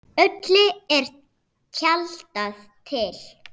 Öllu er tjaldað til.